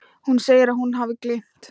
Hún segir að hún hafi gleymt.